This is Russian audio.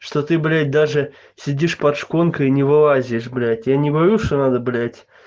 что ты блять даже сидишь под шконкой не вылазишь блять я не говорю что надо блять